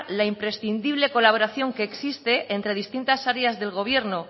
la imprescindible colaboración que existe entre distintas áreas del gobierno